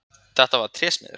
Þetta var trésmiður.